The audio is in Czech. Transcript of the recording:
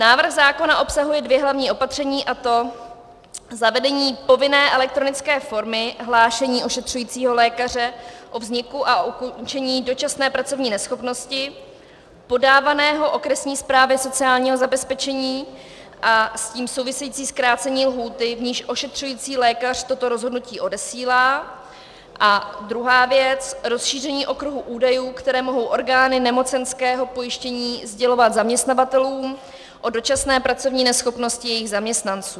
Návrh zákona obsahuje dvě hlavní opatření, a to zavedení povinné elektronické formy hlášení ošetřujícího lékaře o vzniku a ukončení dočasné pracovní neschopnosti podávaného okresní správě sociálního zabezpečení a s tím související zkrácení lhůty, v níž ošetřující lékař toto rozhodnutí odesílá, a druhá věc, rozšíření okruhu údajů, které mohou orgány nemocenského pojištění sdělovat zaměstnavatelům o dočasné pracovní neschopnosti jejich zaměstnanců.